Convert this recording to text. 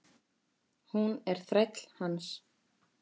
Hún er þræll hans.